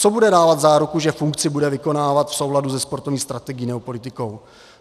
Co bude dávat záruku, že funkci bude vykonávat v souladu se sportovní strategií nebo politikou?